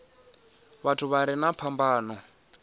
vhathu vha re na phambano